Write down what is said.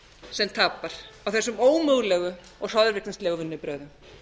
sem tapar á þessum ómögulegu og hroðvirknislegu vinnubrögðum